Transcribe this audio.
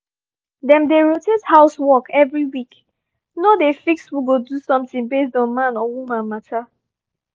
dem dey rotate house work every week no dey fix who go do something based on man or woman matter